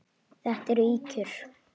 Þetta eru ýkjur!